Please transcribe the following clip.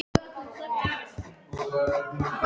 Gerði svo erfitt að nefna Pésa.